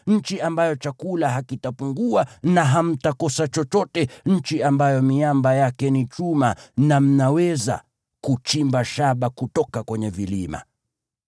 nchi ambayo chakula hakitapungua na hamtakosa chochote; nchi ambayo miamba yake ni chuma na mnaweza kuchimba shaba kutoka kwenye vilima.